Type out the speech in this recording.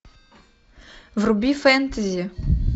вруби фэнтези